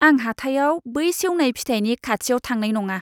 आं हाथाइआव बै सेवनाय फिथाइनि खाथियाव थांनाय नङा।